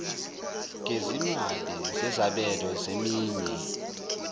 gezimali zezabelo zeminye